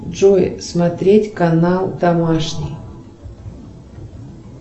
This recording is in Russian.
джой смотреть канал домашний